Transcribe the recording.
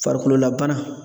Farikololabana